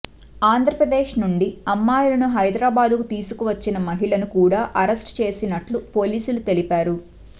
ఆంధ్ర ప్రదేశ్ నుండి అమ్మాయిలను హైదరాబాద్ కు తీసుకువచ్చిన మహిళను కూడా అరెస్ట్ చేసినట్లు పోలీసులు తెలిపారు